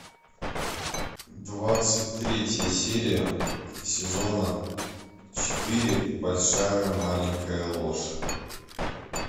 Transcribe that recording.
двадцать третья серия сезона четыре большая маленькая ложь